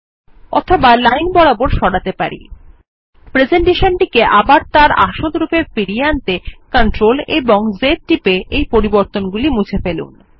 ওর across lines presentation টি আবার তার আসল রূপে ফিরিয়ে আনতে CTRL এবং Z টিপে এই পরিবর্তনগুলি মুছে ফেলুন